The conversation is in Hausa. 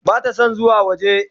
Bata son zuwa waje.